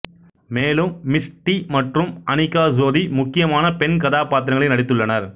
மேலும் மிஷ்டி மற்றும் அனிகா சோதி முக்கியமான பெண் கதாப்பாத்திரங்களில் நடித்துள்ளனர்